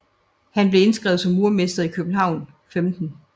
Han blev indskrevet som murermester i København 15